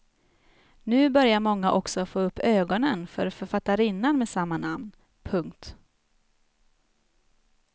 Nu börjar många också få upp ögonen för författarinnan med samma namn. punkt